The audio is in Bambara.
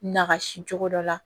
Nagasi cogo dɔ la